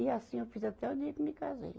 E assim eu fiz até o dia que eu me casei.